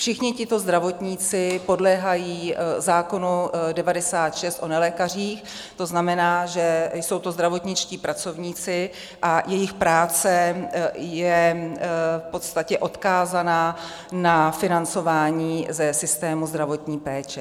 Všichni tito zdravotníci podléhají zákonu 96 o nelékařích, to znamená, že jsou to zdravotničtí pracovníci, a jejich práce je v podstatě odkázaná na financování ze systému zdravotní péče.